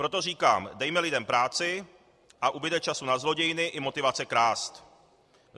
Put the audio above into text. Proto říkám: Dejme lidem práci, pak ubude času na zlodějiny i motivace krást.